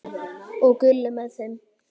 Og Gulli með þeim!